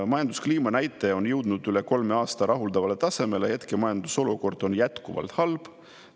Majanduskliima näitaja on jõudnud üle kolme aasta rahuldavale tasemele, kuid hetke majandusolukord on jätkuvalt halb.